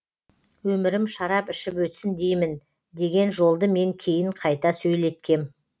өмірім шарап ішіп өтсін деймін деген жолды мен кейін қайта сөйлеткем